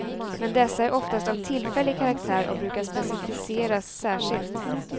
Men dessa är oftast av tillfällig karaktär och brukar specifiseras särskilt.